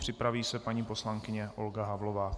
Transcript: Připraví se paní poslankyně Olga Havlová.